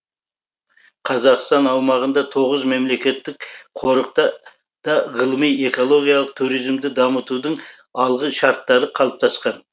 қазақстан аумағында тоғыз мемлекеттік қорықта да ғылыми экологиялық туризмді дамытудың алғы шарттары қалыптасқан